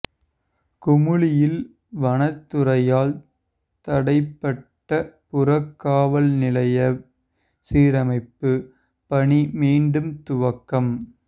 குமுளியில் வனத்துறையால் தடைபட்ட புறக்காவல் நிலைய சீரமைப்பு பணி மீண்டும் துவக்கம்